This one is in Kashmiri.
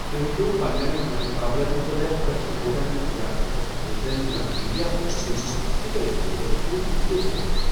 تُہۍ ہیٚکِو پنٛنٮ۪ن مدِ مُقابلن مُتعلِق پریس رِپورٹن، تِجارتی دستاویزن، یا میڈیا کوریجن منٛز یہِ تۄہہِ ضروٗرت چھوٕ تہِ ژھٲرِتھ۔